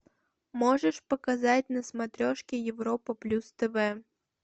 можешь показать на смотрешке европа плюс тв